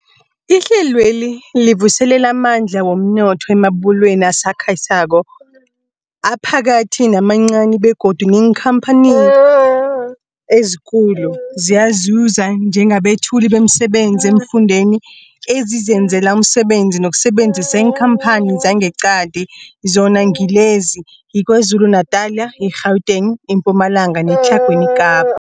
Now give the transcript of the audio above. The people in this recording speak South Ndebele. Ihlelweli livuselela amandla womnotho emabubulweni asakhasako, aphakathi namancani begodu neenkhamphani ezikulu ziyazuza njengabethuli bemisebenzi eemfundeni ezizenzela umsebenzi ngokusebenzisa iinkhamphani zangeqadi, zona ngilezi, yiKwaZulu-Natala, i-Gauteng, iMpumalanga neTlhagwini Kapa.